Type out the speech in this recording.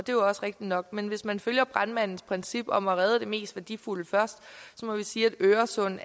jo også rigtigt nok men hvis man følger brandmandens princip om at redde det mest værdifulde først må man sige at øresund